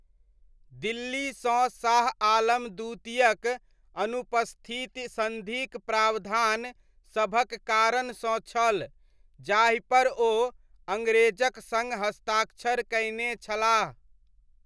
दिल्लीसँ शाह आलम द्वितीयक अनुपस्थिति सन्धिक प्रावधान सभक कारणसँ छल जाहिपर ओ अङ्ग्रेजक सङ्ग हस्ताक्षर कयने छलाह।